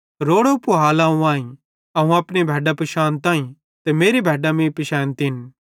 रोड़ो पूहाल अवं आईं अवं अपनी भैड्डां पिशानताईं ते मेरी भैड्डां मीं पिशैनचन